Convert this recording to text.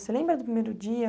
Você lembra do primeiro dia?